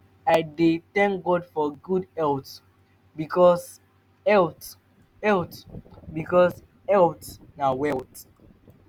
i dey tank god for gud health bikos health health bikos health na wealth